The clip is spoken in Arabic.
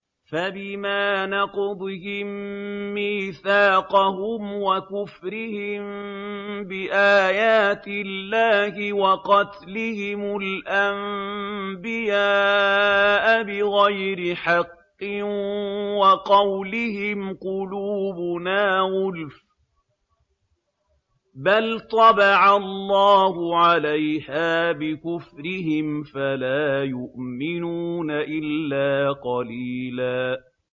فَبِمَا نَقْضِهِم مِّيثَاقَهُمْ وَكُفْرِهِم بِآيَاتِ اللَّهِ وَقَتْلِهِمُ الْأَنبِيَاءَ بِغَيْرِ حَقٍّ وَقَوْلِهِمْ قُلُوبُنَا غُلْفٌ ۚ بَلْ طَبَعَ اللَّهُ عَلَيْهَا بِكُفْرِهِمْ فَلَا يُؤْمِنُونَ إِلَّا قَلِيلًا